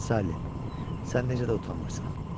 Sally, sən necə də utanmırsan?